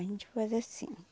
A gente faz assim.